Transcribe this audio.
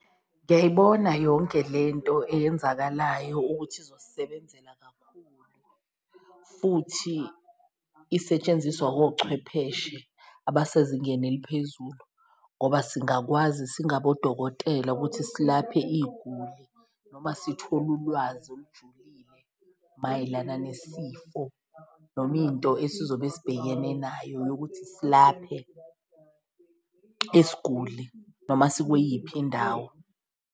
Ngiyayibona yonke lento eyenzakalayo ukuthi izosisebenzela kakhulu futhi isetshenziswa wochwepheshe abasezingeni eliphezulu, ngoba singakwazi singabodokotela ukuthi silaphe iyiguli. Noma sithole ulwazi olujulile mayelana nesifo noma into esizobe sibhekene nayo yokuthi silaphe isiguli noma sikweyiphi indawo.